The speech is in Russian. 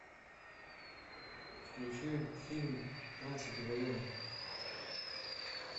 включи фильм тринадцатый район